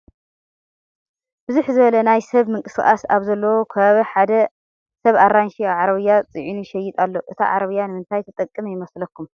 ብዝሕ ዝበለ ናይ ሰብ ምንቅስቓስ ኣብ ዘለዎ ከባቢ ሓደ ሰብ ኣራንሺ ኣብ ዓረቢያ ፅዒኑ ይሸይጥ ኣሎ፡፡ እታ ዓረቢያ ንምንታይ ትጠቕሞ ይመስለኩም?